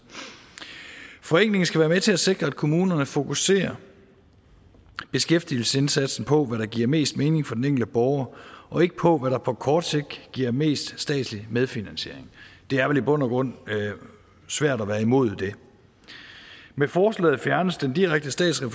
forenklingen skal være med til at sikre at kommunerne fokuserer beskæftigelsesindsatsen på hvad der giver mest mening for den enkelte borger og ikke på hvad der på kort sigt giver mest statslig medfinansiering det er vel i bund og grund svært at være imod det med forslaget fjernes den direkte statslige